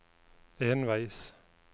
enveis